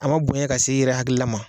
A man bonya ka se i yɛrɛ hakilila ma.